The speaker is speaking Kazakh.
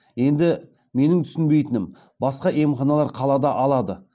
енді менің түсінбейтінім басқа емханалар қалада алады